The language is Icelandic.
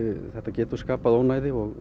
þetta getur skapað ónæði og